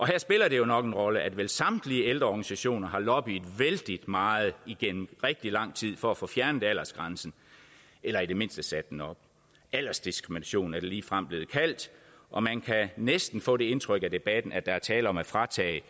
her spiller det nok en rolle at vel samtlige ældreorganisationer har lobbyet vældig meget igennem rigtig lang tid for at få fjernet aldersgrænsen eller i det mindste sat den op aldersdiskrimination er det ligefrem blevet kaldt og man kan næsten få det indtryk af debatten at der er tale om at fratage